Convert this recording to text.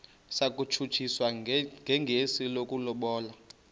satshutshiswa njengesi sokulobola